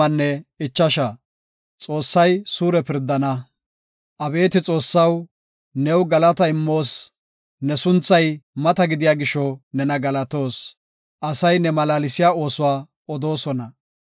Abeeti Xoossaw, new galata immoos; ne sunthay mata gidiya gisho nena galatoos; asay ne malaalsiya oosuwa odoosona.